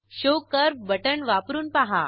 show curve button वापरून पहा